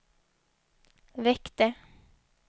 väckte